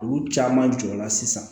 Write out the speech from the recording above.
Olu caman jɔra sisan